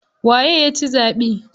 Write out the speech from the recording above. Waye yaci zaɓe?